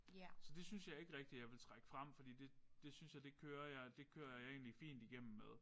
Så det synes jeg ikke rigtig jeg vil trække frem fordi det det synes jeg det kører det kører jeg egentlig fint igennem med